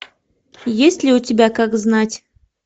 есть ли у тебя как знать